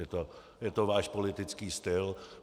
Je to váš politický styl.